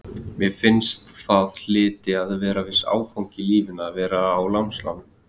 Mér fannst það hlyti að vera viss áfangi í lífinu að vera á námslánum.